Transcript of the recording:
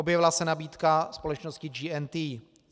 Objevila se nabídka společnosti GNT.